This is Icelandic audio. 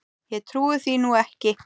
Ég trúi því nú ekki!